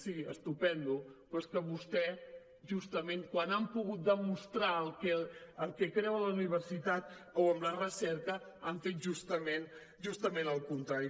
sí estupend però és que vostès justament quan han pogut demostrar el que creuen en la universitat o en la recerca han fet justament el contrari